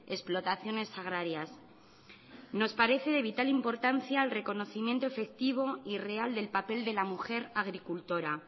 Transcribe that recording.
explotaciones agrarias nos parece de vital importancia el reconocimiento efectivo y real del papel de la mujer agricultora